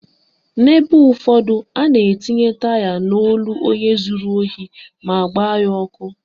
N'ebe ụfọdụ, a na-etinye taya n'olu onye zuru ohi ma gbaa ya ọkụ